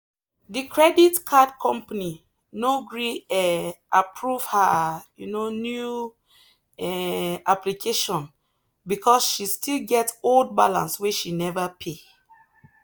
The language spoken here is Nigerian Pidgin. the credit card company no gree um approve her um new um application because she still get old balance wey she never pay.